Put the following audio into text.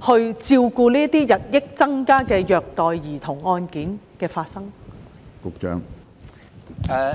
以處理日益增加的虐待兒童案件？